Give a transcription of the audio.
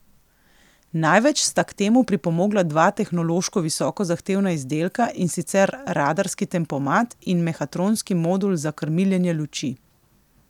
Največ sta k temu pripomogla dva tehnološko visoko zahtevna izdelka, in sicer radarski tempomat in mehatronski modul za krmiljenje luči.